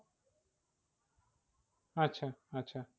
আচ্ছা আচ্ছা